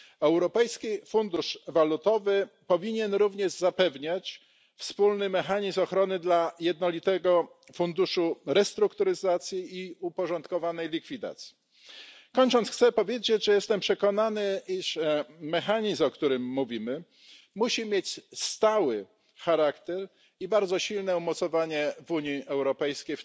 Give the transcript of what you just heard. Europejski Fundusz Walutowy powinien również zapewniać wspólny mechanizm ochrony dla Jednolitego Funduszu Restrukturyzacji i Uporządkowanej Likwidacji. Kończąc, chcę powiedzieć, że jestem przekonany, iż mechanizm, o którym mówimy, musi mieć stały charakter i bardzo silne umocowanie w Unii Europejskiej.